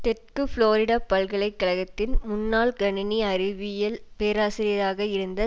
தெற்கு புளோரிடா பல்கலை கழகத்தின் முன்னாள் கணணி அறிவியல் பேராசிரியராக இருந்த